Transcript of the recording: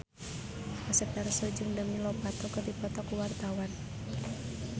Asep Darso jeung Demi Lovato keur dipoto ku wartawan